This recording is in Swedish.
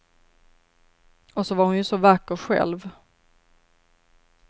Och så var hon ju så vacker själv.